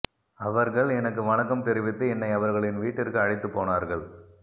அவர்கள் எனக்கு வணக்கம் தெரிவித்து என்னை அவர்களின் வீட்டிற்கு அழைத்துப் போனார்கள்